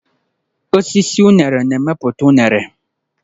Osisi unere na-emepụta unere.